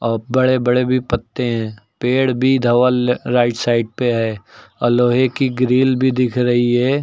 औ बड़े बड़े भी पत्ते हैं। पेड़ भी धवल राइट साइड पे है औ लोहे की ग्रिल भी दिख रही है।